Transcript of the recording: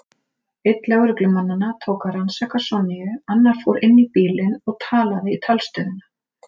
Einn lögreglumannanna tók að rannsaka Sonju, annar fór inn í bílinn og talaði í talstöðina.